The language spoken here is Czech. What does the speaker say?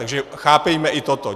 Takže chápejme i toto.